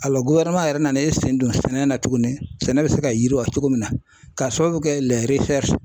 yɛrɛ nana e sen don sɛnɛ na tuguni sɛnɛ bɛ se ka yiriwa cogo min na k'a sababu kɛ